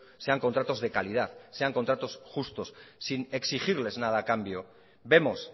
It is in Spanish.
sean contratos de calidad sean contratos justos sin exigirles nada a cambio vemos